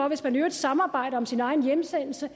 hvis man i øvrigt samarbejder om sin egen hjemsendelse